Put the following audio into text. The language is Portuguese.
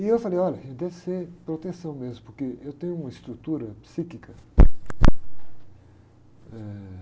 E eu falei, olha, deve ser proteção mesmo, porque eu tenho uma estrutura psíquica. Eh...